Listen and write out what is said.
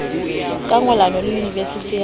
ka ngollano le yunivesithi ya